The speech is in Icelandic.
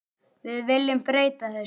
Við viljum breyta þessu.